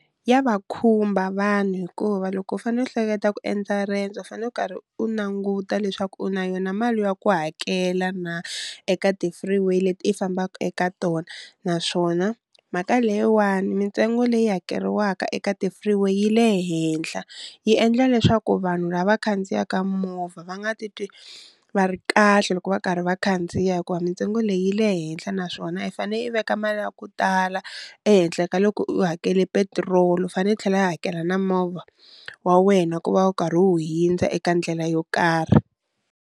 Ya va khumba vanhu hikuva loko u fane u hleketa ku endza rendzo u fane u karhi u languta leswaku u na yona mali ya ku hakela na eka ti-free way leti i fambaka eka tona, naswona mhaka leyiwani mintsengo leyi hakeriwaka eka ti-free way yi le henhla yi endla leswaku vanhu lava khandziyaka movha va nga titwi va ri kahle loko va karhi va khandziya hikuva mintsengo leyi yi le henhla naswona i fane i veka mali ya ku tala ehenhla ka loko u hakele petirolo u fane i tlhela i hakela na movha wa wena ku va wu karhi wu hindza eka ndlela yo karhi.